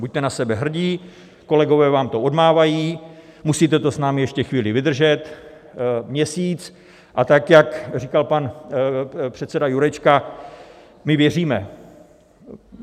Buďte na sebe hrdí, kolegové vám to odmávají, musíte to s námi ještě chvíli vydržet - měsíc, a tak jak říkal pan předseda Jurečka, my věříme.